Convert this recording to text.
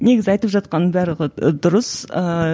негізі айтып жатқаның барлығы ы дұрыс ыыы